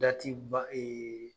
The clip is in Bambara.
Dati ban